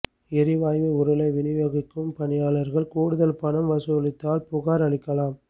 எரிவாயு உருளை விநியோகிக்கும் பணியாளா்கள் கூடுதல் பணம் வசூலித்தால் புகாா் அளிக்கலாம்